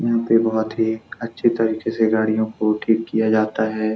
यहाँ पे बहुत ही अच्छे तरीके से गाड़ियों को ठीक किया जाता है।